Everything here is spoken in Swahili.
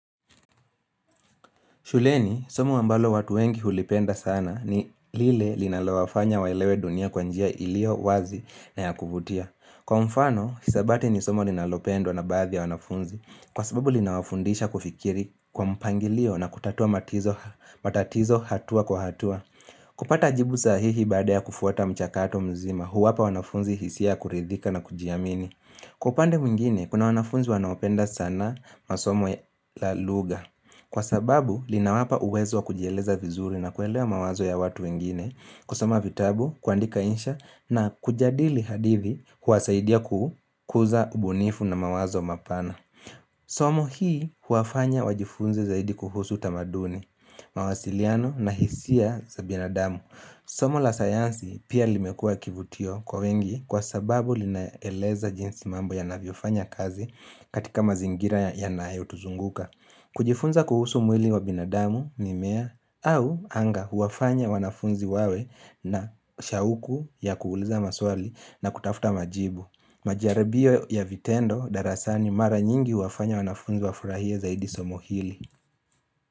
Shuleni, somo ambalo watu wengi hulipenda sana ni lile linalowafanya waelewe dunia kwa njia iliyo wazi na ya kuvutia. Kwa mfano, hisabati ni somo linalopendwa na baadhi ya wanafunzi. Kwa sababu linawafundisha kufikiri kwa mpangilio na kutatua matatizo hatua kwa hatua. Kupata jibu sahihi baada ya kufuata mchakato mzima huwapa wanafunzi hisia kuridhika na kujiamini. Kwa upande mwingine, kuna wanafunzi wanaopenda sanaa masoma la luga. Kwa sababu, linawapa uwezo wa kujieleza vizuri na kuelewa mawazo ya watu wengine, kusoma vitabu, kuandika insha na kujadili hadithi huwasaidia kukuza ubunifu na mawazo mapana. Somo hii huwafanya wajifunze zaidi kuhusu tamaduni, mawasiliano na hisia za binadamu. Somo la sayansi pia limekua kivutio kwa wengi kwa sababu linaeleza jinsi mambo yanavyofanya kazi katika mazingira ya nayotuzunguka. Kujifunza kuhusu mwili wa binadamu ni mimea au anga huwafanya wanafunzi wawe na shauku ya kuuliza maswali na kutafuta majibu. Majaribio ya vitendo darasani mara nyingi huwafanya wanafunzi wafurahie zaidi somo hili.